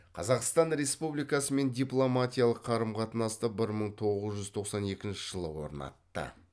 қазақстан республикасымен дипломатиялық қарым қатынасты бір мың тоғыз жүз тоқсан екінші жылы орнатты